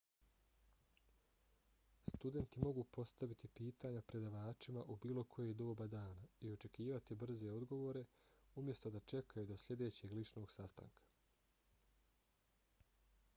studenti mogu postaviti pitanja predavačima u bilo koje doba dana i očekivati brze odgovore umjesto da čekaju do sljedećeg ličnog sastanka